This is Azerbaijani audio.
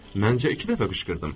Məncə iki dəfə qışqırdım.